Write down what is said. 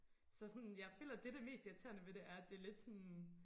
Så sådan jeg føler det det mest irriterende ved det er at det lidt sådan